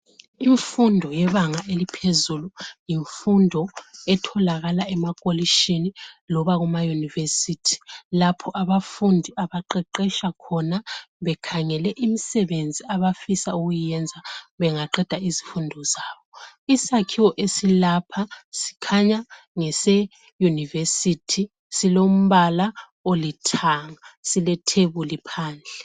Imfundo yebanga eliphezulu yimfundo etholakala emakolitshini loba kuma yunivesithi lapho abafundi abaqeqetsha khona bekhangele imisebenzi abafisa ukuyenza bangaqeda izifundo. Isakhiwo esilapha kukhanya ngese yunivesithi silombala olithanga silethebuli phandle.